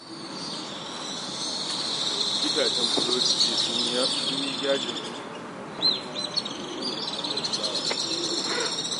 Gidajen burodi jiya sun yi yajin aiki saboda tsadar fulawa